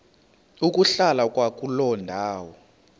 ukuhlala kwakuloo ndawo